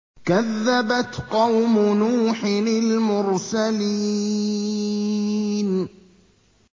كَذَّبَتْ قَوْمُ نُوحٍ الْمُرْسَلِينَ